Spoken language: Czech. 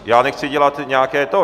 Já nechci dělat nějaké to.